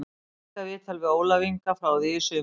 Einkaviðtal við Ólaf Inga frá því í sumar